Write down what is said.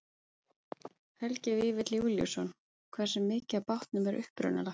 Helgi Vífill Júlíusson: Hversu mikið af bátnum er upprunalegt?